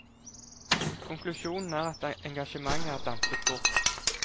Konklusjonen er at engasjementet er dampet bort.